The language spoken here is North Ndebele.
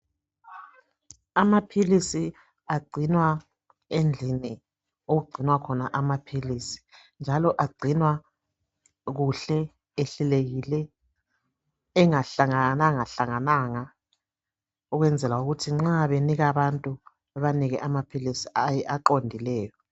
Amaphilisi agcinwa endlini okugcinwa khona amaphilisi njalo agcinwa kuhle ehlelekile engahlangananga ukwenzela ukuthi nxa benika abantu bebanike amaphilisi aqondileyo .